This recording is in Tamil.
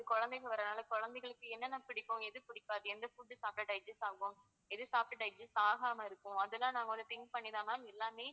குழந்தைங்க வர்றதுனால குழந்தைகளுக்கு என்னென்ன பிடிக்கும் எது பிடிக்காது எந்த food சாப்பிட்டா digest ஆகும் எது சாப்பிட்டா digest ஆகாம இருக்கும் அது எல்லாம் நாங்க வந்து think பண்ணி தான் ma'am எல்லாமே